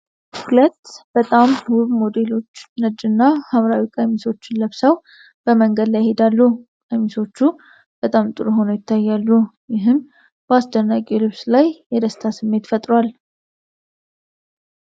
ሁለት በጣም ውብ ሞዴሎች ነጭና ሐምራዊ ቀሚሶችን ለብሰው በመንገድ ላይ ይሄዳሉ። ቀሚሶቹ በጣም ጥሩ ሆነው ይታያሉ፤ ይህም በአስደናቂው ልብስ ላይ የደስታ ስሜት ፈጥሯል።